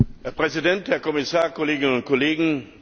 Herr Präsident, Herr Kommissar, Kolleginnen und Kollegen!